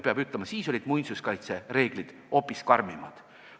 Peab ütlema, et siis olid muinsuskaitsereeglid hoopis karmimad.